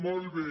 molt bé